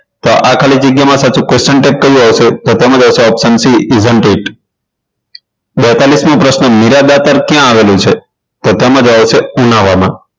તો આ ખાલી જગ્યામાં સાચુ question tag કયું આવશે તો તેમાં આવશે option c presentate બેતાલીસ મો પ્રશ્ન મીરાદાતાર ક્યાં આવેલું છે તો તેમાં જવાબ આવશે ઉનાવામાં